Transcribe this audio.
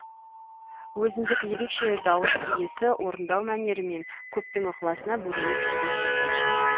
өзіндік ерекше дауыс иесі орындау мәнерімен көптің ықыласына бөленіп жүрген жас әнші